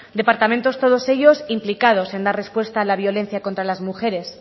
departamentos todos ellos implicados en dar respuesta a la violencia contra las mujeres